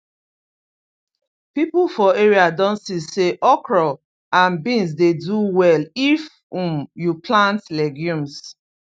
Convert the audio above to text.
people for area don see say okra and beans dey do well if um you plant legumes